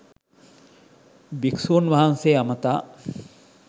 භික්‍ෂූන් වහන්සේ අමතා